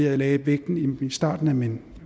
jeg lagde vægten i starten af min